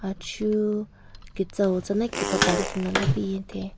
Achu ketsue tsana kepapali khinala piyenthen.